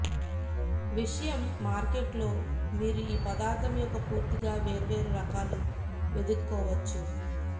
విషయం మార్కెట్ లో మీరు ఈ పదార్థం యొక్క పూర్తిగా వేర్వేరు రకాల వెదుక్కోవచ్చు